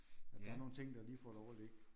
At der er nogle ting der lige får lov at ligge